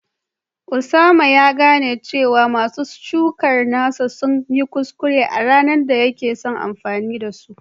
Osama ya gane cewa masu shukar nasa sun yi kuskure a ranar da yake son amfani da su